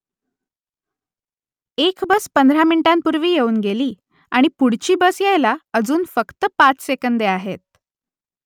एक बस पंधरा मिनिटांपूर्वी येऊन गेली आणि पुढची बस यायला अजून फक्त पाच सेकंदे आहेत